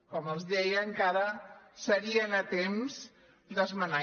com els deia encara serien a temps d’esmenar